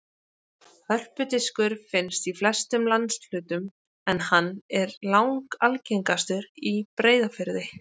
Hörpudiskur finnst í flestum landshlutum en hann er langalgengastur í Breiðafirði.